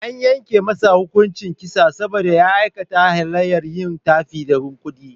An yanke masa hukuncin kisa saboda ya aikata halayyar yin tsafi dan kudi